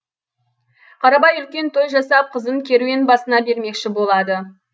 қарабай үлкен той жасап қызын керуен басына бермекші болады